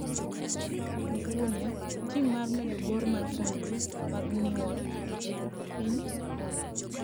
Gukunia: Tim mar medo bor mar fuonidnii mag niyuol e piniy Rwanida